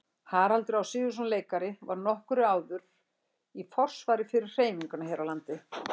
Haraldur Á. Sigurðsson leikari var nokkru áður í forsvari fyrir hreyfinguna hér á landi.